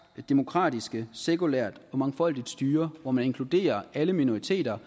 et demokratisk sekulært og mangfoldigt styre hvor man inkluderer alle minoriteter